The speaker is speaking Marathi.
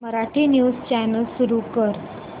मराठी न्यूज चॅनल सुरू कर